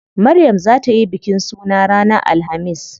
Maryam zaa tayi bikin suna ranar alhamis.